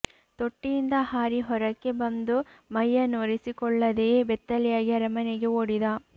ತೊಟ್ಟಿಯಿಂದ ಹಾರಿ ಹೊರಕ್ಕೆ ಬಂದು ಮೈಯನ್ನು ಒರೆಸಿಕೊಳ್ಳದೆಯೇ ಬೆತ್ತಲೆಯಾಗಿ ಅರಮನೆಗೆ ಓಡಿದ